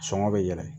Sɔngɔ bɛ yɛlɛ